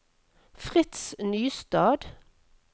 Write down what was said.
Fritz Nystad